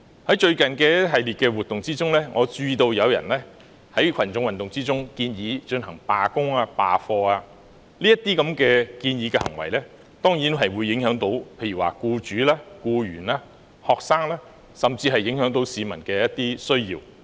在最近的一系列活動中，我注意到有人在群眾運動中，建議進行罷工、罷課，這些建議的行為當然會影響僱主、僱員和學生，甚至會影響市民的一些需要。